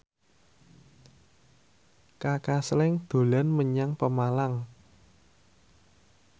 Kaka Slank dolan menyang Pemalang